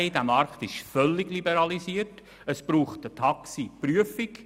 Der Markt ist völlig liberalisiert, es braucht eine Taxiprüfung.